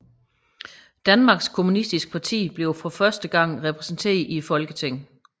Danmarks Kommunistiske Parti bliver for første gang repræsenteret i Folketinget